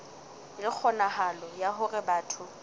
le kgonahalo ya hore batho